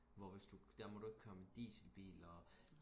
hvor hvis du der må du ikke køre med dieselbiler